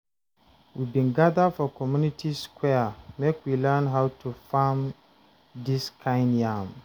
We bin gather for community square make we learn how to farm dis kind yam.